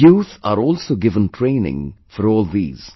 Youth are also given training for all these